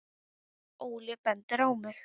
Óli bendir á mig: